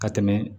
Ka tɛmɛ